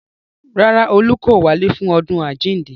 Rárá, olú kò wálé fún ọdún àjíǹde